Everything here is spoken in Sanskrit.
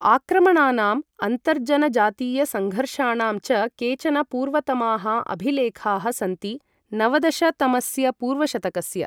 आक्रमणानाम्, अन्तर्जनजातीय सङ्घर्षाणां च केचन पूर्वतमाः अभिलेखाः सन्ति नवदशतमस्य पूर्वशतकस्य।